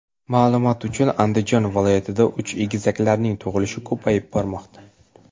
Ma’lumot uchun, Andijon viloyatida uch egizaklarning tug‘ilishi ko‘payib bormoqda .